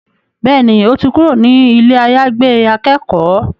Bẹ́ẹ̀ni, ó ti kúrò ní ilé àyàgbé akẹ́kọ̀ọ́